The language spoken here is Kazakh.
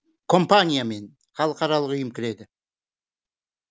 компания мен халықаралық ұйым кіреді